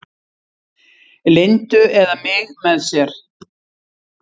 Lindu eða mig með sér.